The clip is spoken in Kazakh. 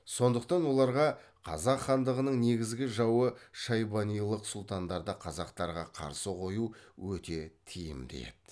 сондықтан оларға қазақ хандығының негізгі жауы шайбанилық сұлтандарды қазақтарға қарсы қою өте тиімді еді